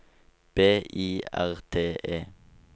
B I R T E